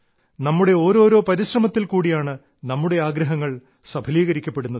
നമ്മുടെ ഓരോരോ പരിശ്രമത്തിൽ കൂടിയാണ് നമ്മുടെ ആഗ്രഹങ്ങൾ സഫലീകരിക്കപ്പെടുന്നത്